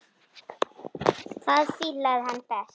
Það fílaði hann best.